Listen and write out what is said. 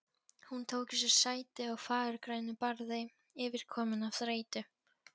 Hún tók sér sæti á fagurgrænu barði, yfirkomin af þreytu.